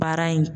Baara in